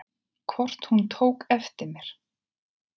Hvort hún tók eftir mér.